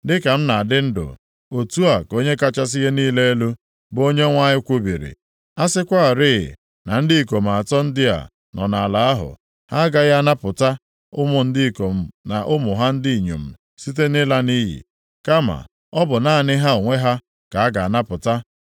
dịka m na-adị ndụ, otu a ka Onye kachasị ihe niile elu, bụ Onyenwe anyị kwubiri, a sịkwarị na ndị ikom atọ ndị a nọ nʼala ahụ, ha agaghị anapụta ụmụ ndị ikom na ụmụ ha ndị inyom site nʼịla nʼiyi. Kama, ọ bụ naanị ha onwe ha ka a ga-anapụta.